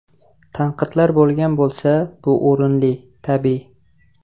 Tanqidlar bo‘lgan bo‘lsa, bu o‘rinli, tabiiy.